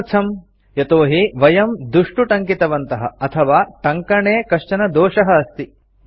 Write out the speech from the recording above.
किमर्थम् यतोहि वयं दुष्टु टङ्कितवन्तः अथवा टङ्कणे कश्चन दोषः अस्ति